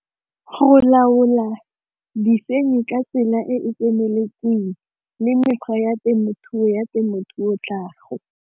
Go laola ka tsela e tseneletseng le mekgwa ya temothuo ya temothuo tlhago.